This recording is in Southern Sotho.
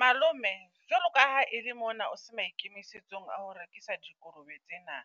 Malome, jwalo ka ha e le mona o se maikemisetsong a ho rekisa dikolobe tsena.